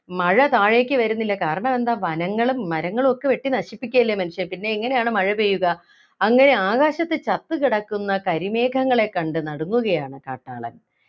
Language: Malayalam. മഴ താഴേക്ക് വരുന്നില്ല കാരണം എന്താ വനങ്ങളും മരങ്ങളും ഒക്കെ വെട്ടി നശിപ്പിക്കുകയല്ലേ മനുഷ്യൻ പിന്നെ എങ്ങനെയാണ് മഴപെയ്യുക അങ്ങനെ ആകാശത്ത് ചത്തു കിടക്കുന്ന കരിമേഘങ്ങളെ കണ്ടു നടങ്ങുകയാണ് കാട്ടാളൻ